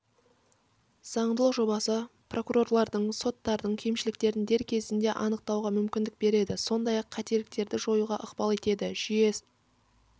заңдылық жобасы прокурорлардың соттардың кемшіліктерін дер кезінде анықтауға мүмкіндік береді сондай-ақ қателіктерді жоюға ықпал етеді жүйе